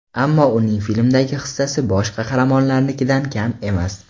Ammo uning filmdagi hissasi bosh qahramonlarnikidan kam emas.